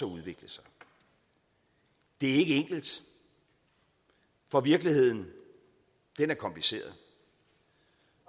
udvikle sig det er ikke enkelt for virkeligheden er kompliceret